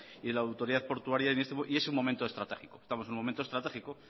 y la autoridad portuaria y es un momento estratégico estamos en un momento estratégico